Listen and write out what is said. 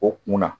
O kunna